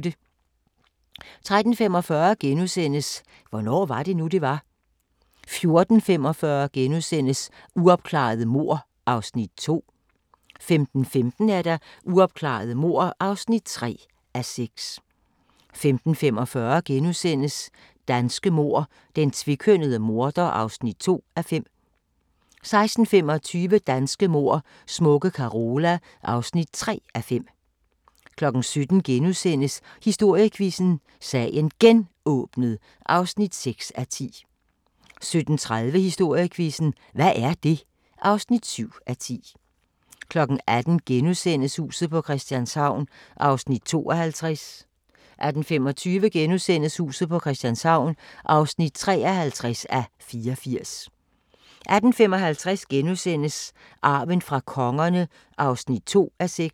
13:45: Hvornår var det nu, det var? * 14:45: Uopklarede mord (2:6)* 15:15: Uopklarede mord (3:6) 15:45: Danske mord: Den tvekønnede morder (2:5)* 16:25: Danske mord: Smukke Carola (3:5) 17:00: Historiequizzen: Sagen Genåbnet (6:10)* 17:30: Historiequizzen: Hvad er det? (7:10) 18:00: Huset på Christianshavn (52:84)* 18:25: Huset på Christianshavn (53:84)* 18:55: Arven fra kongerne (2:6)*